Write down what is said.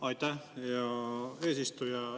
Aitäh, hea eesistuja!